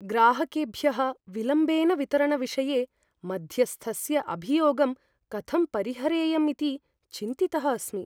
ग्राहकेभ्यः विलम्बेन वितरणविषये मध्यस्थस्य अभियोगं कथं परिहरेयमिति चिन्तितः अस्मि।